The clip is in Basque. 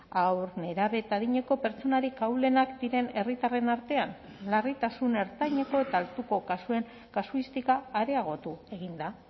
haur nerabe eta adineko pertsonarik ahulenak diren herritarren artean larritasun ertaineko eta altuko kasuen kasuistika areagotu egin da